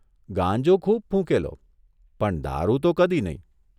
ગાંજો ખુબ ફૂંકેલો, પણ દારૂ તો કદી નહીં !